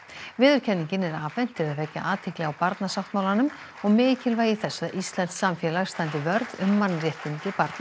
viðurkenningin er afhent til að vekja athygli á Barnasáttmálanum og mikilvægi þess að íslenskt samfélag standi vörð um mannréttindi barna